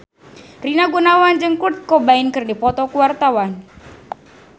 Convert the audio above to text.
Rina Gunawan jeung Kurt Cobain keur dipoto ku wartawan